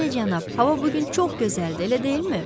Bəli, cənab, hava bu gün çox gözəldir, elə deyilmi?